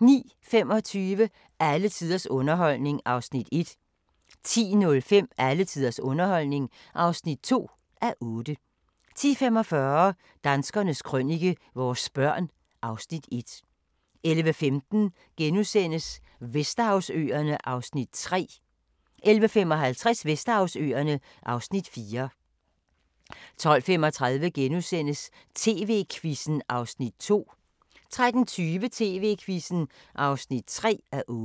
09:25: Alle tiders underholdning (1:8) 10:05: Alle tiders underholdning (2:8) 10:45: Danskernes Krønike - vores børn (Afs. 1) 11:15: Vesterhavsøerne (Afs. 3)* 11:55: Vesterhavsøerne (Afs. 4) 12:35: TV-Quizzen (2:8)* 13:20: TV-Quizzen (3:8)